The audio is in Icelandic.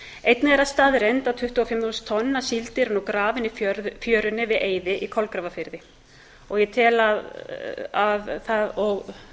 einnig er það staðreynd að tuttugu og fimm þúsund tonn af síld eru nú grafin í fjörunni við eyði í kolgrafafirði og